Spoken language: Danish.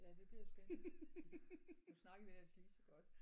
Ja det bliver spændende nu snakkede vi ellers lige så godt